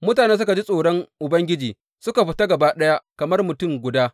Mutanen suka ji tsoron Ubangiji suka fita gaba ɗaya kamar mutum guda.